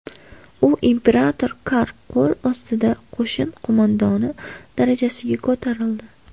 U imperator Kar qo‘l ostida qo‘shin qo‘mondoni darajasiga ko‘tarildi.